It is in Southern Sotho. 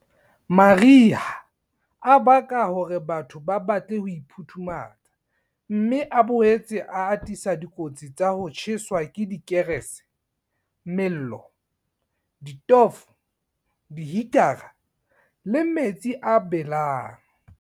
Mariha a baka hore batho ba batle ho iphuthumatsa, mme a boetse a atisa dikotsi tsa ho tjheswa ke dikerese, mello, ditofo, dihitara le metsi a belang.